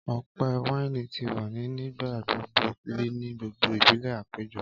Ọpẹ waini ti wa ni nigbagbogbo ri ni gbogbo ibile apejo.